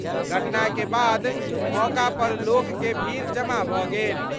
घटना के बाद मौका पर लोक के भीड़ जमा भ' गेल।